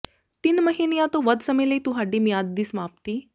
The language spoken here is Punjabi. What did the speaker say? ਤਿੰਨ ਮਹੀਨਿਆਂ ਤੋਂ ਵੱਧ ਸਮੇਂ ਲਈ ਤੁਹਾਡੀ ਮਿਆਦ ਦੀ ਸਮਾਪਤੀ